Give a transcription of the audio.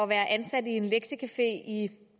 være ansat i en lektiecafé i i